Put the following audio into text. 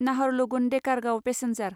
Naharlagun Dekargaon passenger